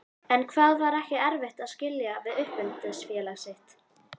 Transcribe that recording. En var ekki erfitt að skilja við uppeldisfélag sitt?